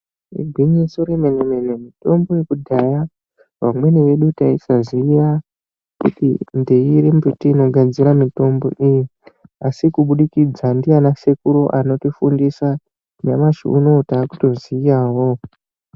Igwinyiso re mene mene mitombo yekudhaya vamweni vedu taisa ziya kuti ndeiri mbuti ino gadzira mitombo iyi asi kubudikidza ndiana sekuru anoti fundisa nyamashi unowu takuto ziyawo.